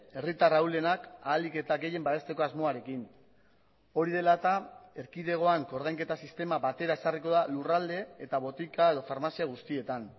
herritar ahulenak ahalik eta gehien babesteko asmoarekin hori dela eta erkidegoan koordainketa sistema batera ezarriko da lurralde eta botika edo farmazia guztietan